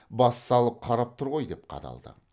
бас салып қарап тұр ғой деп қадалды